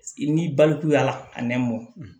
I ni balikuyala a nɛmɔn